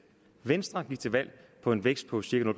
venstre gik til valg på en vækst på cirka